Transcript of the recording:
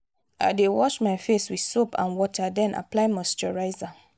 i dey wash my face with soap and water then apply moisturizer.